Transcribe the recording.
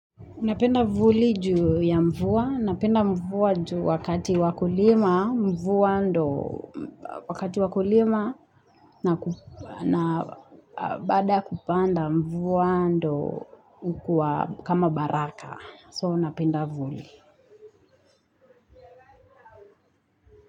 Napenda vuli juu ya mvua, napenda mvua juu wakati wa kulima, mvua ndyo, wakati wa kulima na baada ya kupanda mvua ndyo hukuwa kama baraka So napenda vuli.